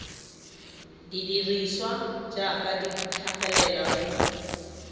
dirisiwa jaaka di tlhagelela mo